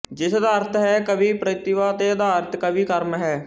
ਜਿਸ ਦਾ ਅਰਥ ਹੈ ਕਵੀ ਪ੍ਰਤਿਭਾ ਤੇ ਆਧਾਰਿਤ ਕਵੀ ਕਰਮ ਹੈ